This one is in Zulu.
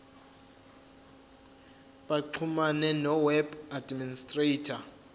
baxhumane noweb administrator